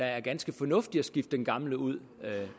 er ganske fornuftigt at skifte den gamle ud